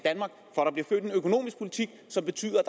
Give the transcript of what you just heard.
økonomisk politik som betyder at